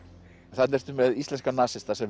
þarna ertu með íslenska nasista sem